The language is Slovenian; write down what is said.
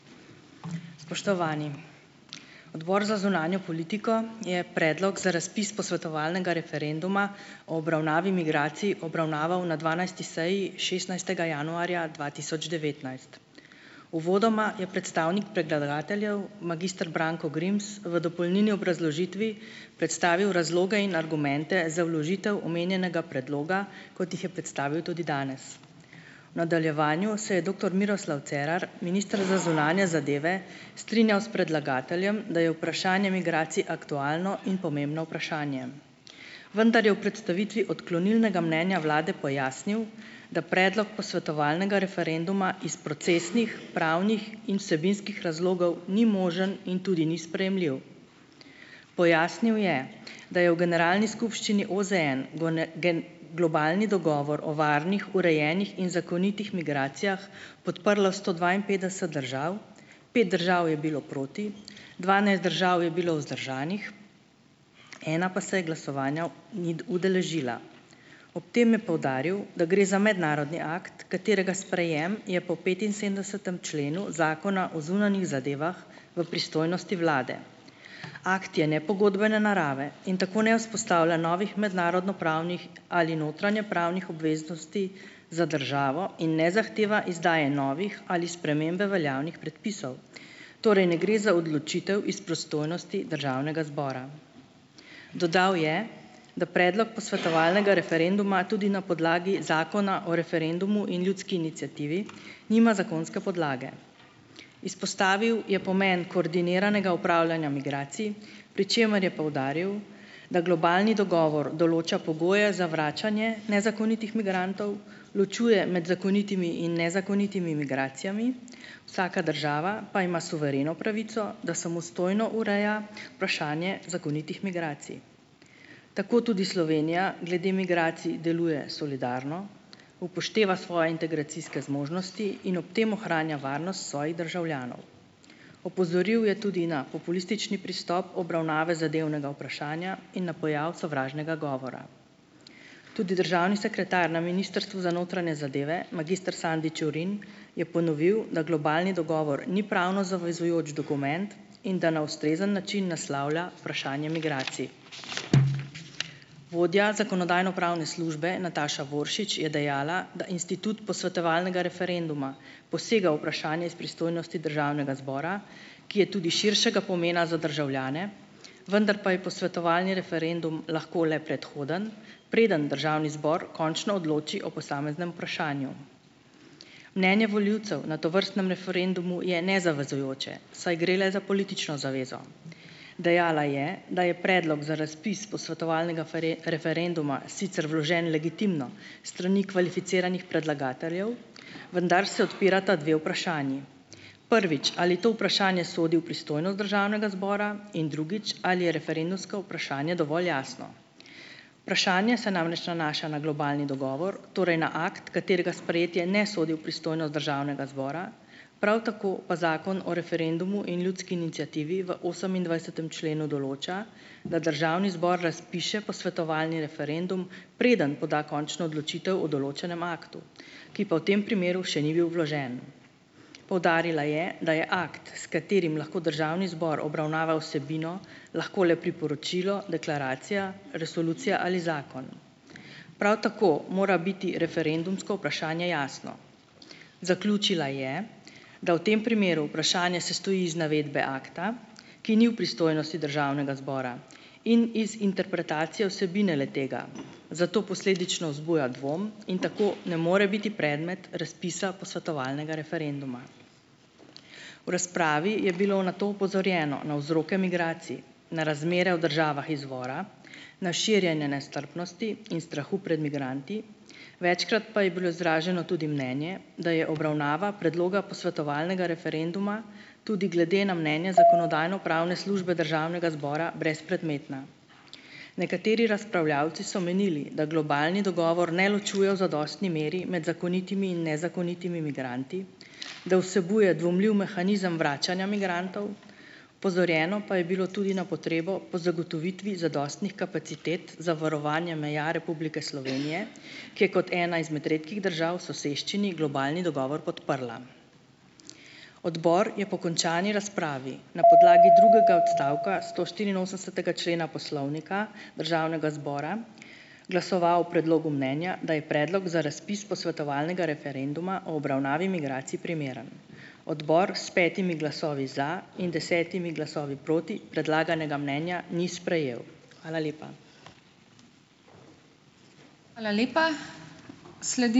Spoštovani! Odbor za zunanjo politiko je predlog za razpis posvetovalnega referenduma o obravnavi migracij obravnaval na dvanajsti seji šestnajstega januarja dva tisoč devetnajst. Uvodoma je predstavnik predlagateljev magister Branko Grims v dopolnilni obrazložitvi predstavil razloge in argumente za vložitev omenjenega predloga, kot jih je predstavil tudi danes. V nadaljevanju se je doktor Miroslav Cerar, minister za zunanje zadeve, strinjal s predlagateljem, da je vprašanje migracij aktualno in pomembno vprašanje, vendar je v predstavitvi odklonilnega mnenja vlade pojasnil, da predlog posvetovalnega referenduma iz procesnih, pravnih in vsebinskih razlogov ni možen in tudi ni sprejemljiv. Pojasnil je, da je v Generalni skupščini OZN v globalni dogovor o varnih, urejenih in zakonitih migracijah podprlo sto dvainpetdeset držav - pet držav je bilo proti, dvanajst držav je bilo vzdržanih, ena pa se glasovanja ni udeležila. Ob tem je poudaril, da gre za mednarodni akt, katerega sprejem je po petinsedemdesetem členu Zakona o zunanjih zadevah v pristojnosti vlade. Akt je nepogodbene narave in tako ne vzpostavlja novih mednarodnopravnih ali notranjepravnih obveznosti za državo in ne zahteva izdaje novih ali spremembe veljavnih predpisov. Torej, ne gre za odločitev iz pristojnosti državnega zbora. Dodal je, da predlog posvetovalnega referenduma tudi na podlagi Zakona o referendumu in ljudski iniciativi nima zakonske podlage. Izpostavil je pomen koordiniranega upravljanja migracij, pri čemer je poudaril, da globalni dogovor določa pogoje za vračanje nezakonitih migrantov, ločuje med zakonitimi in nezakonitimi migracijami, vsaka država pa ima suvereno pravico, da samostojno ureja vprašanje zakonitih migracij. Tako tudi Slovenija glede migracij deluje solidarno, upošteva svoje integracijske zmožnosti in ob tem ohranja varnost svojih državljanov. Opozoril je tudi na populistični pristop obravnave zadevnega vprašanja in na pojav sovražnega govora. Tudi državni sekretar na Ministrstvu za notranje zadeve magister Sandi Čurin je ponovil, da globalni dogovor ni pravno zavezujoč dokument in da na ustrezen način naslavlja vprašanje migracij. Vodja Zakonodajno-pravne službe Nataša Voršič je dejala, da institut posvetovalnega referenduma posega v vprašanje iz pristojnosti državnega zbora, ki je tudi širšega pomena za državljane, vendar pa je posvetovalni referendum lahko le predhoden preden državni zbor končno odloči o posameznem vprašanju. Mnenje volivcev na tovrstnem referendumu je nezavezujoče, saj gre le za politično zavezo. Dejala je, da je predlog za razpis posvetovalnega referenduma sicer vložen legitimno s strani kvalificiranih predlagateljev, vendar se odpirata dve vprašanji. Prvič. Ali to vprašanje sodi v pristojnost državnega zbora? In drugič. Ali je referendumsko vprašanje dovolj jasno? Vprašanje se namreč nanaša na globalni dogovor, torej na akt, katerega sprejetje ne sodi v pristojnost državnega zbora, prav tako pa Zakon o referendumu in ljudski iniciativi v osemindvajsetem členu določa, da državni zbor razpiše posvetovalni referendum, preden poda končno odločitev o določenem aktu, ki pa v tem primeru še ni bil vložen. Poudarila je, da je akt, s katerim lahko državni zbor obravnava vsebino, lahko le priporočilo, deklaracija, resolucija ali zakon. Prav tako mora biti referendumsko vprašanje jasno. Zaključila je, da v tem primeru vprašanje sestoji iz navedbe akta, ki ni v pristojnosti državnega zbora, in iz interpretacije vsebine le-tega. Zato posledično vzbuja dvom in tako ne more biti predmet razpisa posvetovalnega referenduma. V razpravi je bilo nato opozorjeno na vzroke migracij, na razmere v državah izvora, na širjenje nestrpnosti in strahu pred migranti, večkrat pa je bilo izraženo tudi mnenje, da je obravnava predloga posvetovalnega referenduma tudi glede na mne- nje Zakonodajno-pravne službe državnega zbora brezpredmetna. Nekateri razpravljavci so menili, da globalni dogovor ne ločuje v zadostni meri med zakonitimi in nezakonitimi migranti, da vsebuje dvomljiv mehanizem vračanja migrantov, opozorjeno pa je bilo tudi na potrebo po zagotovitvi zadostnih kapacitet za varovanje meja Republike Slovenije, ki je kot ena izmed redkih držav v soseščini globalni dogovor podprla. Odbor je po končani razpravi na podlagi drugega odstavka stoštiriinosemdesetega člena Poslovnika Državnega zbora glasoval o predlogu mnenja, da je predlog za razpis posvetovalnega referenduma o obravnavi migracij primeren. Odbor s petimi glasovi za in desetimi glasovi proti predlaganega mnenja ni sprejel. Hvala lepa.